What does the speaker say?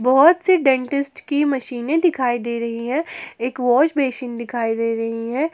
बहुत से डेंटिस्ट की मशीनें दिखाई दे रही है एक वॉश बेसिन दिखाई दे रही है।